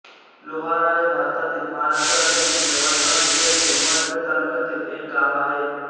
लोहारा हे भारतातील महाराष्ट्र राज्यातील यवतमाळ जिल्ह्यातील उमरखेड तालुक्यातील एक गाव आहे